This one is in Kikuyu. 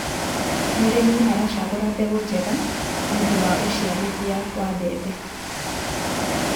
mũrĩmi aracagura mbegũ njega nĩũndũ wa uciarithia wa mbembe